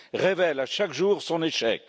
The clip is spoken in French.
révèle chaque jour son échec.